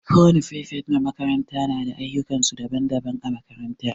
Kowani firifet na makaranta na da ayukan su daban-daban a makaranta.